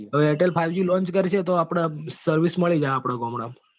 હવે airtel five g launch કરશે તો આપડે મળી જશે આપડા ગામડા માં.